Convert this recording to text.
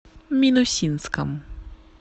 минусинском